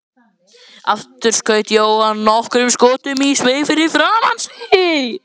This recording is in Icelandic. Aftur skaut Jóhann nokkrum skotum í sveig fyrir framan sig.